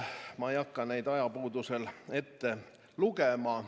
Ma ei hakka neid ajapuuduse tõttu ette lugema.